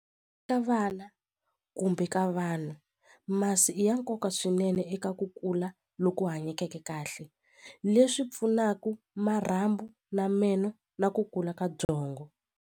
vana kumbe ka vanhu masi i ya nkoka swinene eka ku kula loku hanyekeke kahle leswi pfunaka marhambu ni meno na ku kula ka byongo.